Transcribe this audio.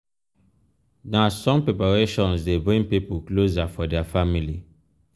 na strong preparations dey bring pipo closer for dia family.